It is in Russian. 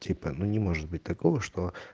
типа ну не может быть такого что